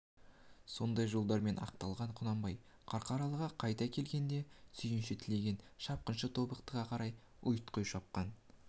сондай жолдармен ақталған құнанбай қарқаралыға қайта келгенде сүйінші тілеген шапқыншы тобықтыға қарай ұйтқи шапқан